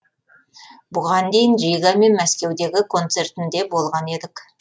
бұған дейін рига мен мәскеудегі концертінде болған едік